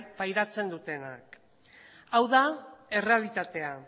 pairatzen dutenak hau da errealitatea